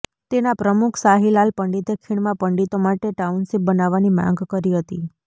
તેના પ્રમુખ શાહીલાલ પંડિતે ખીણમાં પંડિતો માટે ટાઉનશીપ બનાવવાની માંગ કરી હતી